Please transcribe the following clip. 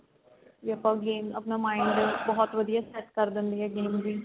ਵੀ ਆਪਾਂ games ਆਪਣਾ mind ਬਹੁਤ ਵਧੀਆ set ਕਰ ਦੇਂਦੀ ਏ games ਵੀ